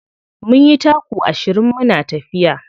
Mun yi taku ashirin muna tafiya.